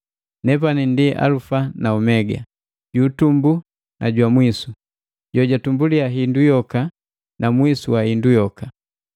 Nepani ndi Alufa na Omega, juutumbu na jwa mwisu, jojwatumbulia hindu yoka na mwisu wa hindu yoka.”